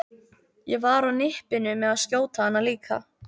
Ég var á nippinu með að skjóta hana líka.